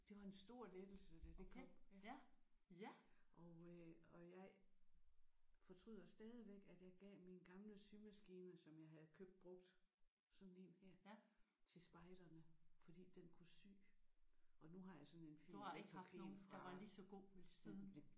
Det var en stor lettelse da det kom og øh og jeg fortryder stadigvæk at jeg gav min gamle symaskine som jeg havde købt brugt sådan en her til spejderne fordi den kunne sy og nu har jeg sådan en fin elektrisk én fra